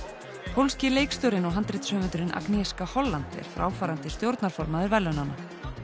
pólski leikstjórinn og handritshöfundurinn Holland er fráfarandi stjórnarformaður verðlaunanna